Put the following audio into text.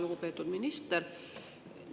Lugupeetud minister!